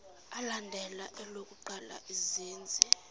alandela elokuqala izenzi